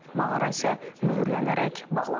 Mağara isə möhürlənərək bağlanıb.